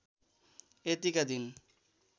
यतिका दिन